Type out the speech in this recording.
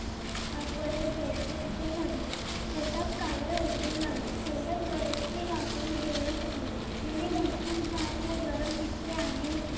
परत जायचे असे ठरले पोटात कावळे ओरडू लागले तेवढ्यात बरेचसे गावकरी देवळात आले त्यानी भरपूर भात व गरम पिठले आणले होते.